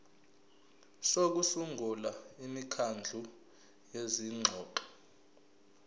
sokusungula imikhandlu yezingxoxo